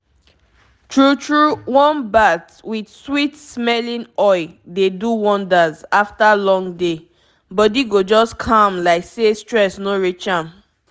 true true warm bath with sweet-smelling oil dey do wonders after long day—body go just calm like say stress no reach am.